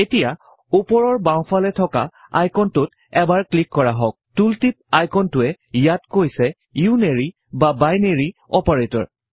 এতিয়া উপৰৰ বাওঁ ফালে থকা আইকনটোত এবাৰ ক্লিক কৰা হওঁক টুল টিপ আইকনটোৱে ইয়াত কৈছে ইউনেৰি বা বাইনেৰি অপাৰেটৰ